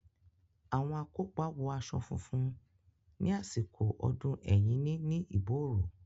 Àwọn akópa wọ aṣọ funfun ní àsìkò ọdún Ẹ̀yíní ní Ìbóòrò.